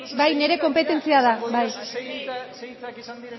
bai nire konpetentzia da zein hitzak izan